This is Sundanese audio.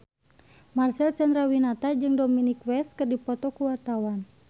Marcel Chandrawinata jeung Dominic West keur dipoto ku wartawan